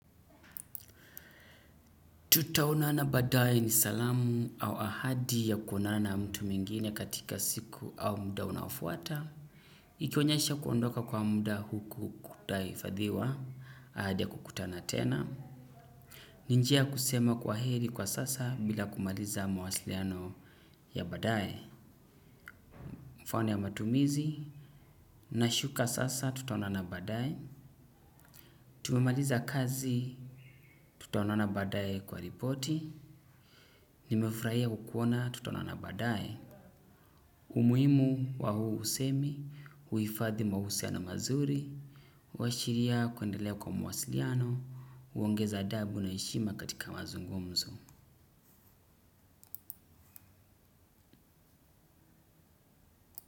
Tutaonana badae ni salamu au ahadi ya kuonana na mtu mwingine katika siku au mdaunaofuata. Ikionyasha kuondoka kwa mda huku kutaifadhiwa, ahadi ya kukutana tena. Ni njia kusema kwa heri kwa sasa bila kumaliza mawasiliano ya baadae. Mfano ya matumizi, nashuka sasa tutaonana badae. Tumemaliza kazi, tutaonana badae kwa ripoti. Nimefraia kukuona, tutaonana badae. Umuhimu wa huu usemi, huifadhi mahusiano mazuri, washiria kuendelea kwa mawasiliano, uongeza adabu na heshima katika mazungumzo.